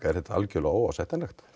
er þetta algerlega óásættanlegt